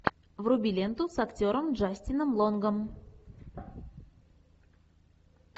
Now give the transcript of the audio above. вруби ленту с актером джастином лонгом